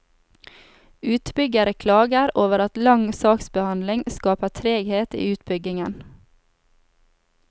Utbyggere klager over at lang saksbehandling skaper treghet i utbyggingen.